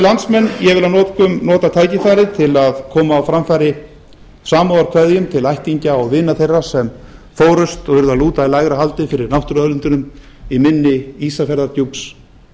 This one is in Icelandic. landsmenn ég vil að lokum nota tækifærið til að koma á framfæri samúðarkveðjum til ættingja og vina þeirra sem fórust og urðu að lúta í lægra haldi fyrir náttúruauðlindunum í mynni ísafjarðardjúps